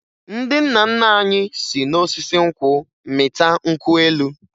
Ndị nna nna anyị si n'osisi nkwụ mịta nkwụ elu